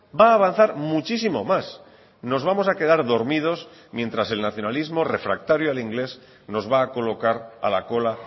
va a avanzar muchísimo más nos vamos a quedar dormidos mientras el nacionalismo refractario al inglés nos va a colocar a la cola